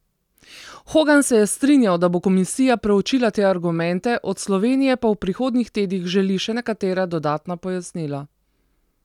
Hogan se je strinjal, da bo komisija preučila te argumente, od Slovenije pa v prihodnjih tednih želi še nekatera dodatna pojasnila.